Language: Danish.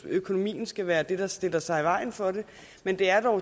at økonomien skal være det der stiller sig i vejen for det men det er